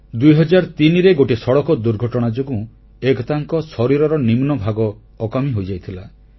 2003 ରେ ଗୋଟିଏ ସଡ଼କ ଦୁର୍ଘଟଣା ଯୋଗୁଁ ଏକତାଙ୍କ ଶରୀରର ନିମ୍ନଭାଗ ଅକାମୀ ହୋଇଯାଇଥିଲା